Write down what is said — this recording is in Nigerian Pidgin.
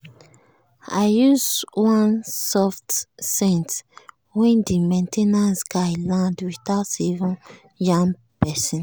i use one soft scent when the main ten ance guys land without even yarn person.